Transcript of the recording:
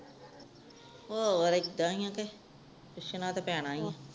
ਹੋਰ ਏਦਾਂ ਏ ਆ ਕੇ ਪੁੱਛਣਾ ਤਾ ਪੈਣਾ ਏ ਆ